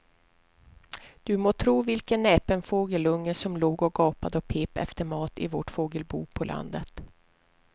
Du må tro vilken näpen fågelunge som låg och gapade och pep efter mat i vårt fågelbo på landet.